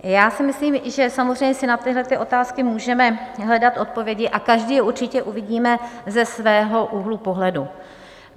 Já si myslím, že samozřejmě i na tyhle otázky můžeme hledat odpovědi a každý je určitě uvidíme ze svého úhlu pohledu.